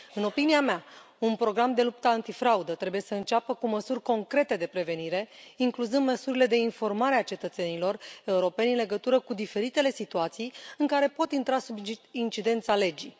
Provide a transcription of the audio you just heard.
În opinia mea, un program de luptă antifraudă trebuie să înceapă cu măsuri concrete de prevenire, incluzând măsurile de informare a cetățenilor europeni în legătură cu diferitele situații în care pot intra sub incidența legii.